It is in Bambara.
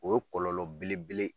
O kɔlɔlɔ belebele.